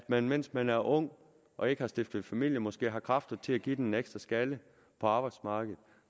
man mens man er ung og ikke har stiftet familie så måske har kræfter til at give den en ekstra skalle på arbejdsmarkedet